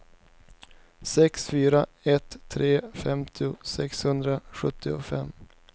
sex fyra ett tre femtio sexhundrasjuttiofem